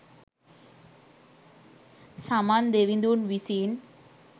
සමන් දෙවිඳුන් විසින්